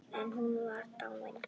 En hún var dáin.